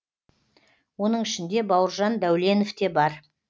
оның ішінде бауыржан дәуленов те бар